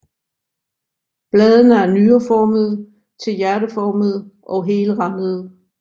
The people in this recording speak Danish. Bladene er nyreformede til hjerteformede og helrandede